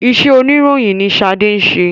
Ìṣe oníròyìn ni ṣade ń ṣe